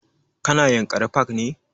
Ka na yanakri park ne?